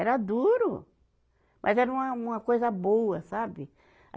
Era duro, mas era uma, uma coisa boa, sabe?